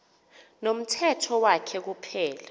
nomthetho wakhe kuphela